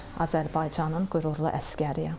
Azərbaycanın qürurlu əsgəriyəm.